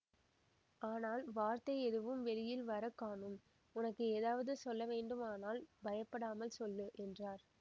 ஆனால் வார்த்தை எதுவும் வெளியில் வர காணோம் உனக்கு ஏதாவது சொல்ல வேண்டுமானால் பயப்படாமல் சொல்லு என்றார்